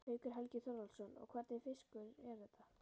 Haukur Helgi Þorvaldsson: Og hvernig fiskur er þetta?